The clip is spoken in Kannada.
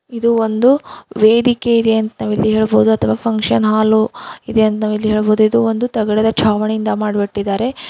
ಇದು ಒಂದು ವೇದಿಕೆ ಇದೆ ಅಂತ ನಾವಿಲ್ಲಿ ಹೇಳಬಹುದು ಅಥವಾ ಫಂಕ್ಷನ್ ಹಾಲು ಇದೆ ಅಂತ ನಾವಿಲ್ಲಿ ಹೇಳಬಹುದು ಇದು ಒಂದು ತಗಡದ ಚಾವಣಿಯಿಂದ ಮಾಡಿ ಬಿಟ್ಟಿದ್ದಾರೆ.